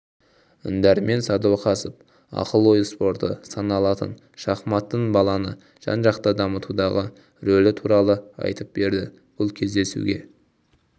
дәрмен сәдуақасов ақыл-ой спорты саналатын шахматтың баланы жан-жақты дамытудағы ролі туралы айтып берді бұл кездесуге